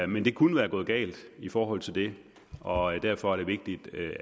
men det kunne være gået galt i forhold til det og derfor er det vigtigt